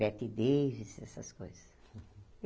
Bette Davis, essas coisas.